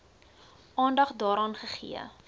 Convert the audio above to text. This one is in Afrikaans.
aandag daaraan gegee